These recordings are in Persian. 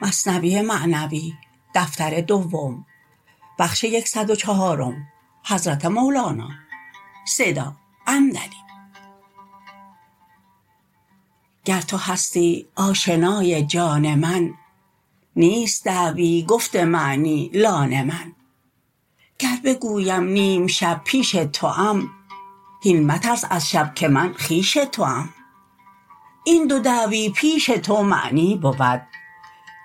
گر تو هستی آشنای جان من نیست دعوی گفت معنی لان من گر بگویم نیم شب پیش توام هین مترس از شب که من خویش توام این دو دعوی پیش تو معنی بود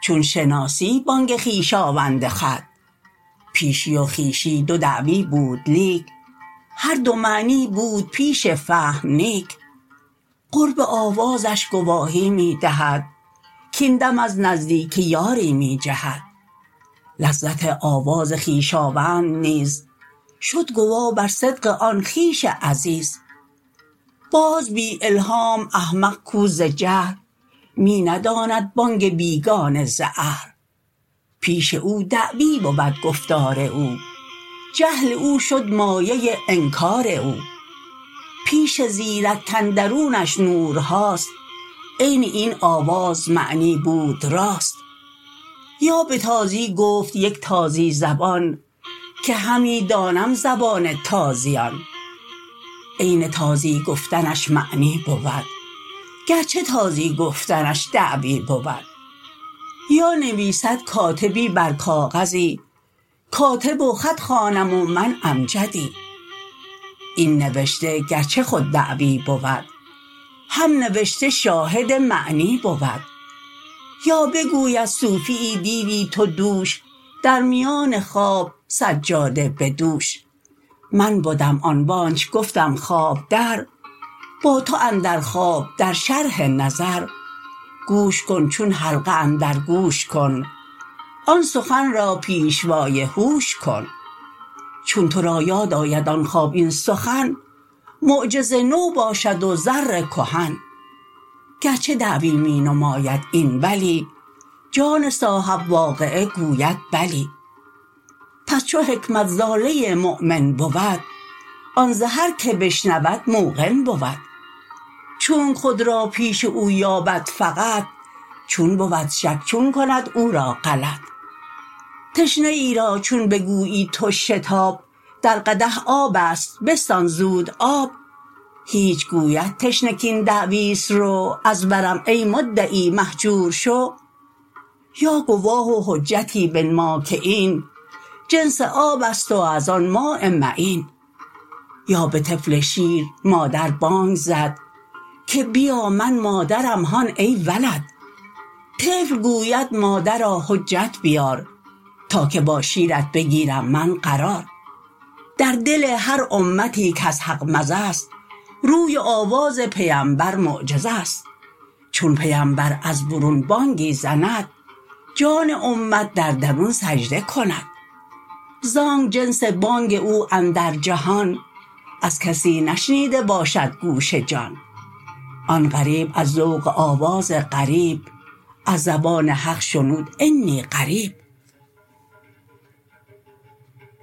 چون شناسی بانگ خویشاوند خود پیشی و خویشی دو دعوی بود لیک هر دو معنی بود پیش فهم نیک قرب آوازش گواهی می دهد کین دم از نزدیک یاری می جهد لذت آواز خویشاوند نیز شد گوا بر صدق آن خویش عزیز باز بی الهام احمق کو ز جهل می نداند بانگ بیگانه ز اهل پیش او دعوی بود گفتار او جهل او شد مایه انکار او پیش زیرک کاندرونش نورهاست عین این آواز معنی بود راست یا به تازی گفت یک تازی زبان که همی دانم زبان تازیان عین تازی گفتنش معنی بود گرچه تازی گفتنش دعوی بود یا نویسد کاتبی بر کاغذی کاتب و خط خوانم و من امجدی این نوشته گرچه خود دعوی بود هم نوشته شاهد معنی بود یا بگوید صوفیی دیدی تو دوش در میان خواب سجاده بدوش من بدم آن وآنچ گفتم خواب در با تو اندر خواب در شرح نظر گوش کن چون حلقه اندر گوش کن آن سخن را پیشوای هوش کن چون تو را یاد آید آن خواب این سخن معجز نو باشد و زر کهن گرچه دعوی می نماید این ولی جان صاحب واقعه گوید بلی پس چو حکمت ضاله مؤمن بود آن ز هر که بشنود موقن بود چونک خود را پیش او یابد فقط چون بود شک چون کند او را غلط تشنه ای را چون بگویی تو شتاب در قدح آبست بستان زود آب هیچ گوید تشنه کین دعویست رو از برم ای مدعی مهجور شو یا گواه و حجتی بنما که این جنس آبست و از آن ماء معین یا به طفل شیر مادر بانگ زد که بیا من مادرم هان ای ولد طفل گوید مادرا حجت بیار تا که با شیرت بگیرم من قرار در دل هر امتی کز حق مزه ست روی و آواز پیمبر معجزه ست چون پیمبر از برون بانگی زند جان امت در درون سجده کند زانک جنس بانگ او اندر جهان از کسی نشنیده باشد گوش جان آن غریب از ذوق آواز غریب از زبان حق شنود انی قریب